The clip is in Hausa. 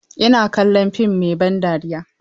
Ina kallon fim mai ban dariya.